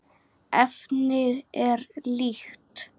Efnið er líkt.